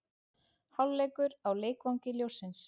Hálfleikur á Leikvangi ljóssins